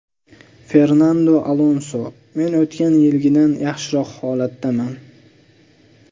Fernando Alonso: Men o‘tgan yilgidan yaxshiroq holatdaman.